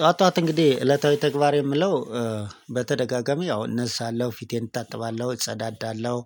ጠዋት ጠዋት እንግዲህ እለታዊ ተግባር የምለው በተደጋጋሚ ያው እነሳለሁ ፊቴን እታጥባለሁ እጸዳዳለሁ።